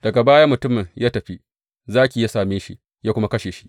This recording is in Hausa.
Daga baya mutumin ya tafi, zaki ya same shi, ya kuma kashe shi.